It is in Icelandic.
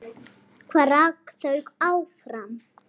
Nína virtist á báðum áttum.